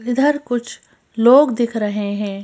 इधर कुछ लोग दिख रहे हैं।